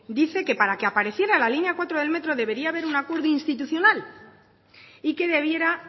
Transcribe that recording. dice que para que apareciera la línea cuatro del metro debería haber un acuerdo institucional y que debiera